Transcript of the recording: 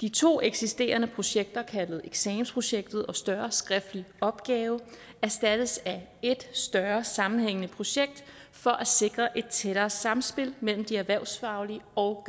de to eksisterende projekter nemlig eksamensprojektet og den større skriftlige opgave erstattes af et større sammenhængende projekt for at sikre et tættere samspil mellem de erhvervsfaglige og